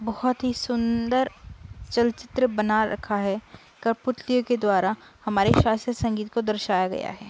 बोहोत ही सुंदर चलचित्र बना रखा है करपुतलियों के द्वारा। हमारे शास्त्र संगीत को दर्शाया गया है।